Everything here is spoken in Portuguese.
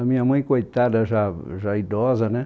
A minha mãe, coitada, já já idosa, né?